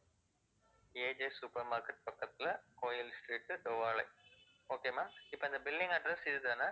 AJ supermarket பக்கத்துல, கோவில் street தோவாளை okay ma'am இப்ப இந்த billing address இது தானே